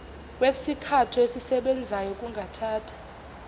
kwesithako esisebenzayo kungathatha